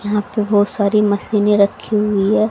यहां पे बहुत सारी मशीनें रखी हुई है।